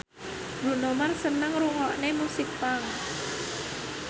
Bruno Mars seneng ngrungokne musik punk